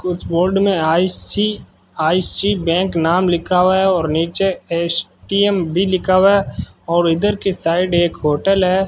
कुछ बोर्ड में I C I C bank नाम लिखा हुआ है और नीचे एस_टी_एम भी लिखा हुआ है और इधर के साइड एक होटल है।